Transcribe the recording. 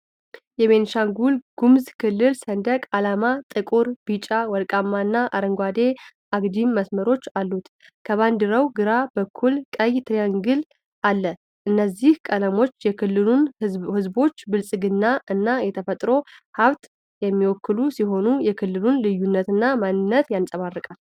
የቤኒሻንጉል ጉሙዝ ክልል ሰንደቅ ዓላማ ጥቁር፣ ቢጫ/ወርቃማና አረንጓዴ አግድም መስመሮች አሉት። ከባንዲራው ግራ በኩል ቀይ ትሪያንግል አለ። እነዚህ ቀለሞች የክልሉን ህዝቦች፣ ብልፅግና እና የተፈጥሮ ሀብት የሚወክሉ ሲሆን፣ የክልሉን ልዩነትና ማንነት ያንፀባርቃል።